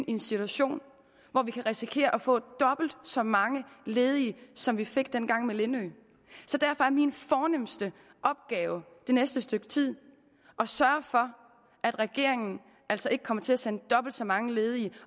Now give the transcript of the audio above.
i en situation hvor vi kan risikere at få dobbelt så mange ledige som vi fik dengang med lindø så derfor er min fornemste opgave det næste stykke tid at sørge for at regeringen ikke kommer til at sende dobbelt så mange ledige